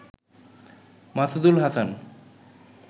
Masudul Hasan